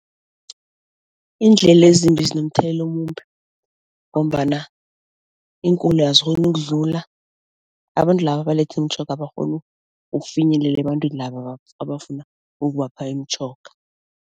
Iindlela ezimbi zinomthelela omumbi ngombana iinkoloyi azikghoni ukudlula, abantu laba abalethe imitjhoga abakghoni ukufinyelela ebantwini laba abafuna ukubapha imitjhoga.